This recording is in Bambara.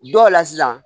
Dɔw la sisan